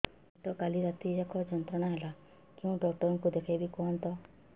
ମୋର ପେଟ କାଲି ରାତି ଯାକ ଯନ୍ତ୍ରଣା ଦେଲା କେଉଁ ଡକ୍ଟର ଙ୍କୁ ଦେଖାଇବି କୁହନ୍ତ